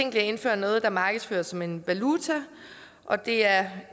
at indføre noget der markedsføres som en valuta og det er